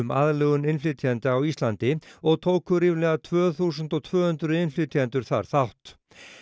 aðlögun innflytjenda á Íslandi og tóku ríflega tvö þúsund og tvö hundruð innflytjendur þar þátt